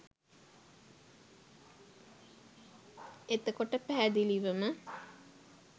එතකොට පැහැදිලිවම